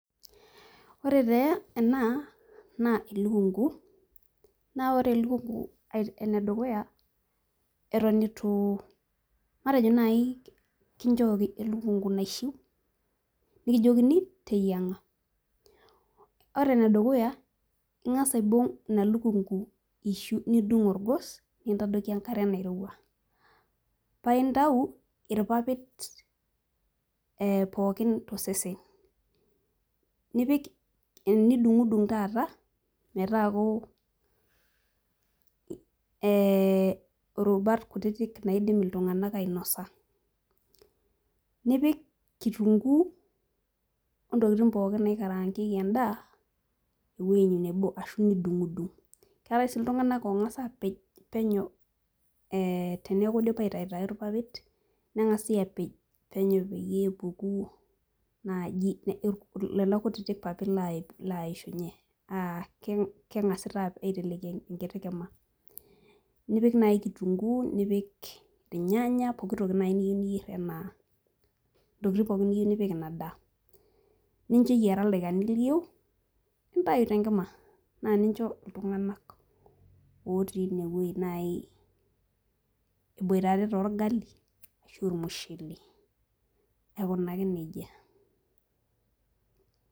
Ore tee ena naa elukungu naa ore elukungu ait enedukuya eton itu matejo naaji kinchooki elukungu naishiu nikijiokini teyieng'a ore enedukuya ing'as aibung ina lukungu ishu nidung orgos nintadoiki enkare nairowua paintau irpapit eh pookin tosesen nipik nidung'udung taata metaaku eh irubat kutitik naidim iltung'anak ainosa nipik kitunguu ontokiting pookin naikarangieki endaa ewueji nebo ashu nidung'udung keetae sii iltung'anak ong'as apej penyo eh teniaku idipa aitaitai irpapit neng'asi apej penyo peyie epuku naaji irk lelo kutiti papit lai laishunye uh keng'asi taa aiteleki enkiti kima nipik naaji kitunguu nipik irnyanya pokitoki naaji niyieu niyierr enaa ntokiting pookin niyieu nipik ina daa nincho eyiara ildaikani liyieu nintai tenkima naa nincho iltung'anak otii inewueji naaji eboitare torgali ashu ormushele aikunaki nejia.